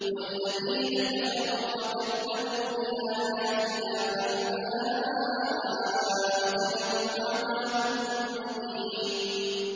وَالَّذِينَ كَفَرُوا وَكَذَّبُوا بِآيَاتِنَا فَأُولَٰئِكَ لَهُمْ عَذَابٌ مُّهِينٌ